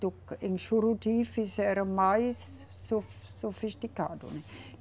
do, em Juruti fizeram mais sofis, sofisticado, né.